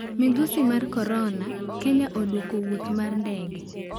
Midhusi mar Korona: Kenya oduoko wuoth mar ndege